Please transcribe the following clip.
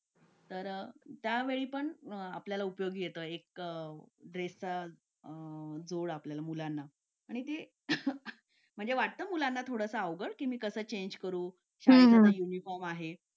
Late होतं सर्दी खोकला हा एक वाढलं आहे. एका मुलाला क्लास पूर्ण क्लास त्याच्यामध्ये वाहून निघत निघत असतो असं म्हणायला हरकत नाही. हो डेंग्यू, मलेरिया यासारखे आजार पण ना म्हणजे लसीकरण आहे. पूर्ण केले तर मला नाही वाटत आहे रोप असू शकतेपुडी लसीकरणाबाबत थोडं पालकांनी लक्ष दिलं पाहिजे की आपला मुलगा या वयात आलेला आहे. आता त्याच्या कोणत्या लसी राहिलेले आहेत का?